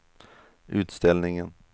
utställningen